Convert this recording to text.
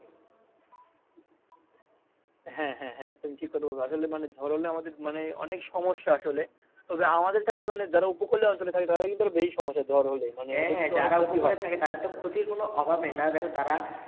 হ্যা হ্যা তুমি ঠিক কথা বলছো আসলে ঝড় হলে আমাদের মানে অনেক সমস্যা আসলে তবে আমাদের চাইতে মানে যারা উপকূলীয় অঞ্চলে থাকে তাদের আরো বেশি সমস্যা ঝড় হলেই হ্যা হ্যা যারা উপকূলে থাকে তাদের তো ক্ষতির কোনো অভাব নাই।